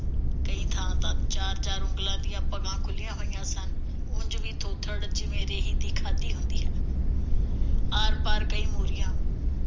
ਕਈ ਥਾਂ ਚਾਰ ਚਾਰ ਉਂਗਲ ਦੀਆਂ ਭਗਾਂ ਖੁਲ੍ਹੀਆਂ ਹੋਈਆਂ ਸਨ। ਉਂਝ ਦੀ ਥੋਬੜ, ਜਿਵੇਂ ਰੇਹੀ ਦੀ ਖਾਧੀ ਹੁੰਦੀ ਹੈ। ਆਰ ਪਾਰ ਕਈ ਮੋਰੀਆਂ।